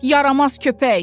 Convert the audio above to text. Yaramaz köpək!